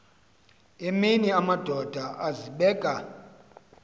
emini amadoda azibeka